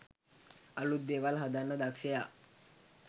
අලුත් දේවල් හදන්න දක්ෂයා